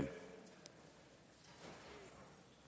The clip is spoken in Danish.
vi